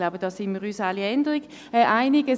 Ich denke, darin sind wir uns alle einig.